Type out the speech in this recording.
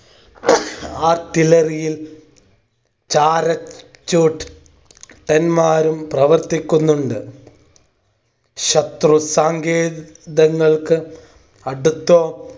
artillary യിൽ para chute ട്ടന്മാരും പ്രവർത്തിക്കുന്നുണ്ട്‌ ശത്രു സാങ്കേ തങ്ങൾക്ക് അടുത്തോ